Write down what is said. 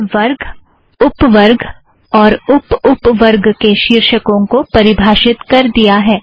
मैंने वर्ग उप वर्ग और उप उप वर्ग के शीर्षकों को परिभाषित कर दिया है